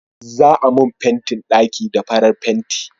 za a mun fentin ɗaki da farar fenti